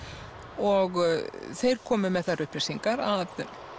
og þeir komu með þær upplýsingar að